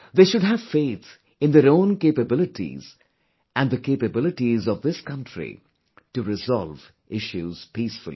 They should have faith in their own capabilities and the capabilities of this country to resolve issues peacefully